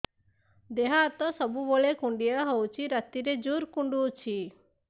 ଦେହ ହାତ ସବୁବେଳେ କୁଣ୍ଡିଆ ହଉଚି ରାତିରେ ଜୁର୍ କୁଣ୍ଡଉଚି